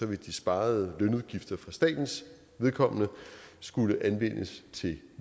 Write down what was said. vil de sparede lønudgifter for statens vedkommende skulle anvendes til